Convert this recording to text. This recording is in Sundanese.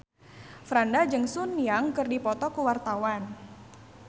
Franda jeung Sun Yang keur dipoto ku wartawan